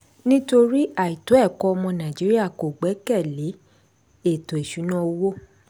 nítorí àìtó ẹ̀kọ́ ọmọ nàìjíríà kò gbẹ́kẹ̀lé ètò ìṣúnná owó.